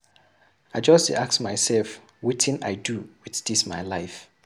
I just dey ask mysef wetin I dey do wit dis my life.